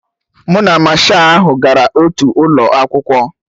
Mụ na Masha ahụ gara otu ụlọ akwụkwọ